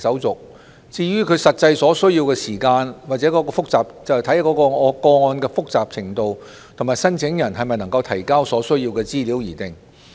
至於開戶所需要的實際時間，則視乎個案的複雜程度及申請人能否提交所需資料而定。